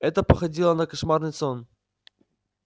это походило на кошмарный сон